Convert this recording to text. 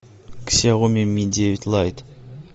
ксяоми ми девять лайт